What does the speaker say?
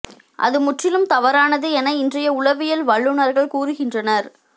அது முற்றிலும் தவறானது என இன்றைய உளவியல் வல்லுனர்கள் கூறுகின்றனர்